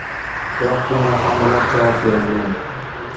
Biroq bunga ham rad javob berilgan.